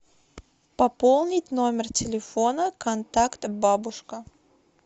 пополнить номер телефона контакт бабушка